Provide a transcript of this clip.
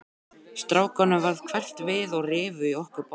Strákunum varð hverft við og rifu í okkur báðar.